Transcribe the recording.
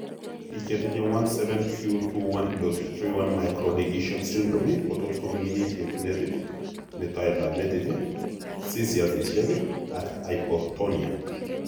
Biik chetinye 17q21.31 microdeletion syndrome kotot komig'init yetunet, metoetab metit, seizuresiek ak hyptonia